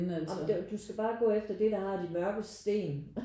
Jamen du skal bare gå efter det der har de mørke sten